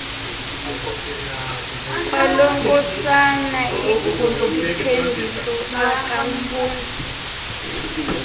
kwalonkosana ingusithembiso akamfuna